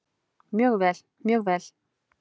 Mjög vel, mjög vel.